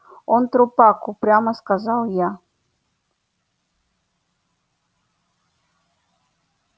он трупак упрямо сказал я